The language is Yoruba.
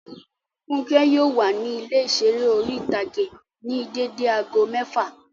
Fúnkẹ́ yóò wà ní ilé ìseré orí-ìtágé ní dédé aago mẹ́ẹ́fà